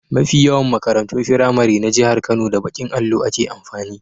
Mafi yawan makarantun firamari na jahar Kano, da baƙin allo ake amfani.